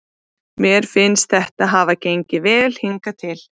Mér finnst þetta hafa gengið vel hingað til.